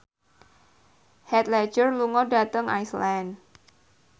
Heath Ledger lunga dhateng Iceland